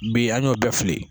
Bi an y'o bɛɛ fili